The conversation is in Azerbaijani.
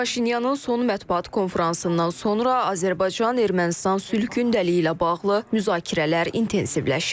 Paşinyanın son mətbuat konfransından sonra Azərbaycan-Ermənistan sülh gündəliyi ilə bağlı müzakirələr intensivləşib.